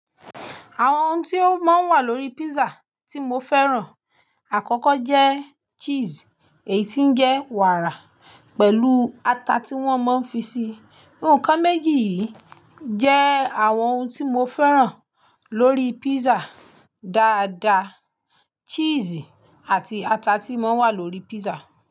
Àwọn ohun tí ó máa ń wà lórí pizza tí mo fẹ́ràn àkọ́kọ́ jẹ́ cheese, èyí tí ń jẹ́ wàárà pẹ̀lú ata tí wọ́n ma ń fi sí i. Ǹkan méjì yìí jẹ́ àwọn ǹkan tí mo fẹ́ràn lórí pizza dáadáa. Cheese àti ata tí ó máa ń wà lórí pizza.